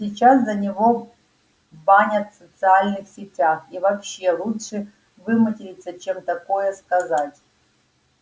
сейчас за него банят в социальных сетях и вообще лучше выматериться чем такое сказать